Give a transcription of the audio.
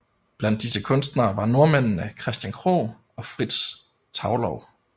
Blandt disse kunstnere var nordmændene Christian Krogh og Frits Thaulow